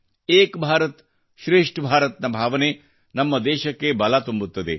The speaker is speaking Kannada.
ಏಕ್ ಭಾರತ್ಶ್ರೇಷ್ಠ ಭಾರತ್ ನ ಭಾವನೆ ನಮ್ಮ ದೇಶಕ್ಕೆ ಬಲ ತುಂಬುತ್ತದೆ